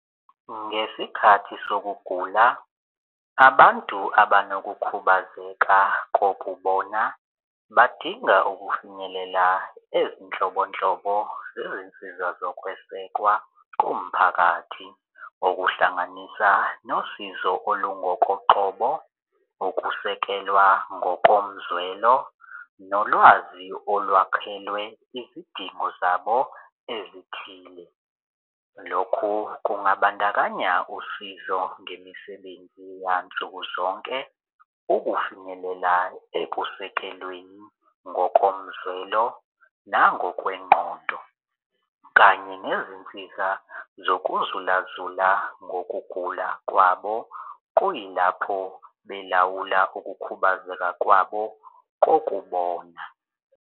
Ngesikhathi sokugula abantu abanokukhubazeka kokubona badinga ukufinyelela ezinhlobonhlobo zezinsiza zokwesekwa komphakathi, ngokuhlanganisa nosizo olungokoqobo, ukusekelwa ngokomzwelo nolwazi olwakhelwe izidingo zabo ezithile. Lokhu kungabandakanya usizo ngemisebenzi yansukuzonke ukufinyelela ekusekelweni ngokomzwelo nangokwengqondo, kanye nezinsiza zokuzulazula ngokugula kwabo kuyilapho belawula ukukhubazeka kwabo kokubona.